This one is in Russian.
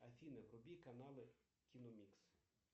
афина вруби каналы киномикс